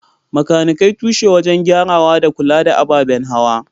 Makanikai tushe wajen gyarawa da kula da ababen hawa.